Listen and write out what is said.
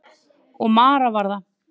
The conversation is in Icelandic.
Og Mara var það.